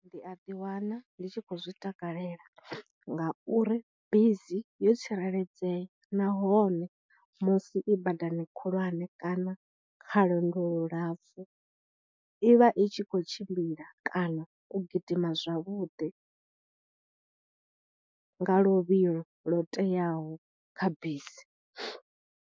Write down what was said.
Ndi a ḓi wana ndi tshi kho u zwi takalela ngauri bisi yo tsireledzea, nahone musi i badani khulwane kana kha lwendo lu lapfhu, i vha i tshi kho u tshimbila kana u gidima zwavhuḓi nga luvhilo lwo teaho kha busi.